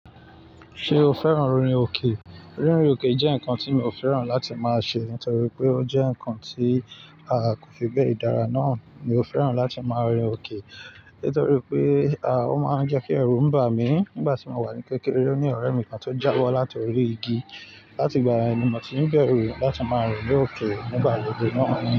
Ṣé o fẹ́ràn rìn òkè? Rínrìn òkè jẹ́ nǹkan tí mi ò fẹ́ràn láti máa ṣe nítorí pé ó jẹ́ nǹkan tí a kò fi bẹ́ẹ̀ dára náà. Mi ò fẹ́ràn láti máa rìn òkè nítorí pé ah ó máa ń jẹ́ kí ẹrù ń bà mí. Nígbà tí mo wà ní kékeré, ó ní ọ̀rẹ́ mi kan tó jábọ́ láti orí igi, láti ìgbà yen mo ti ń bẹ̀rù láti máa rìn ni oke nígbà gbogbo náà.